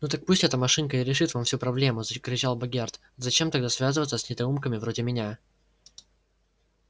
ну так пусть эта машинка и решит вам всю проблему закричал богерт зачем тогда связываться с недоумками вроде меня